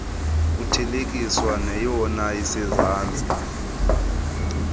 kuthelekiswa neyona isezantsi